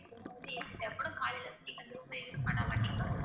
காலையிலிருந்து நீங்க அந்த room ல use பண்ண மாட்டீங்கன்னா